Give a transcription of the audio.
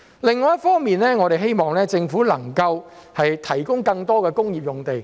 另一方面，我們希望政府能夠提供更多工業用地。